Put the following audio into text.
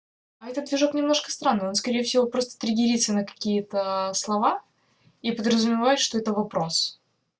а этот сюжет немножко странный он скорее всего просто триггерится на какие-то слова и подразумевает что это вопрос